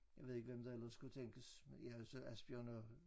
Jeg ved ikke hvem der ellers skulle tænkes ja så Asbjørn og